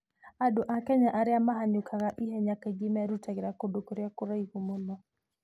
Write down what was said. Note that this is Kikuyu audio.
Andũ a Kenya arĩa mahanyũkaga ihenya kaingĩ merutagĩra kũndũ kũrĩa kũraihu mũno.